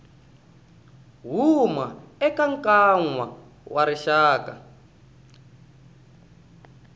huma eka nkwama wa rixaka